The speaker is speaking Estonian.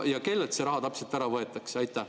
Ja kellelt see raha ikkagi ära võetakse?